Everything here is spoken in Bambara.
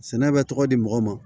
Sɛnɛ bɛ tɔgɔ di mɔgɔ ma